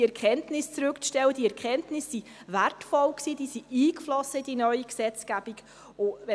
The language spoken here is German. Die Erkenntnisse waren wertvoll und flossen in die neue Gesetzgebung ein.